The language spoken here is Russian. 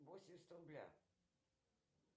восемьдесят рубля